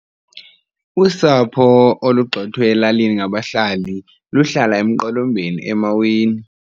Usapho olugxothwe elalini ngabahlali luhlala emqolombeni emaweni.